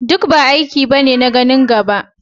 Dubba aiki ne na ganin gaba.